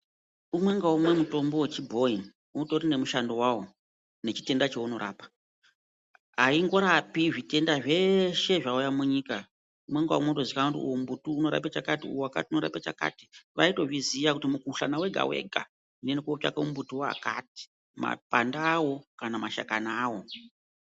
Umwe ngaumwe mutombo wechibhoyi utori nemushando wawo nechitenda chaunorapa ayingorapi zvitenda zveshe zvauya munyika. Umwe ngaumwe unotozikanwa kuti uyu mumbuti unorapa chakati wakati uyu unorapa chakati watozikamwa kuti mukuhlani wega- wega tondotsvaka mumbuti wakati makwande awo kana mashakani awo.